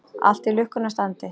Allt í lukkunnar standi.